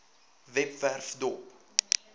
webwerf dop